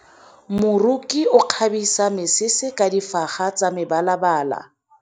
Moroki o kgabisa mesese ka difaga tsa mebalabala.